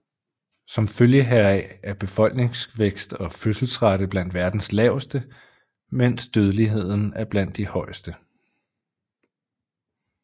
Som følge heraf er befolkningsvækst og fødselsrate blandt verdens laveste mens dødeligheden er blandt de højeste